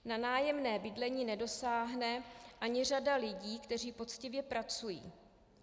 Na nájemné bydlení nedosáhne ani řada lidí, kteří poctivě pracují.